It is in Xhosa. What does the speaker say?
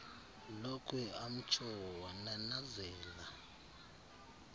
lokhwe amtsho wananazela